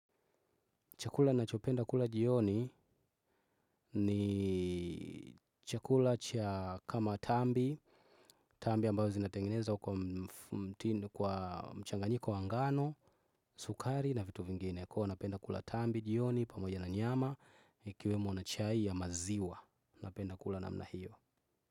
Chakula nachopenda kula jioni ni chakula cha kama tambi, tambi ambayo zinatengeneza kwa mtindo, kwa mchanganyiko wa ngano, sukari na vitu vingine. Kwa hiyo napenda kula tambi jioni pamoja na nyama, ikiwemwo na chai ya maziwa. Napenda kula namna hiyo.